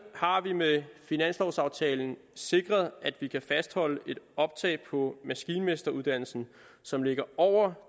har vi med finanslovaftalen sikret at vi kan fastholde et optag på maskinmesteruddannelsen som ligger over